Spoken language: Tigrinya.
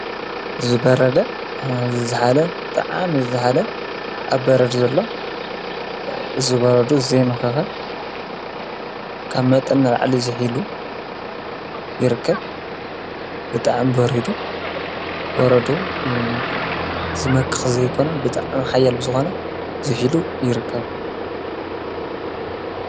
ዝበረደ ዝሓለ ጥዓም ዝዝኃለ ኣብ በረድ ዘሎ ዝበረዱ ዘይምኽኸ ካብ መጥን ኣልዕሊ ዘኂሉ ይርከብ። ብጥዕም በሪዱ ወረዱ ዝመክኽ ዘይኮነም ብጥዓም ሓየል ብዝኾነ ዝሒሉ ይርከብ።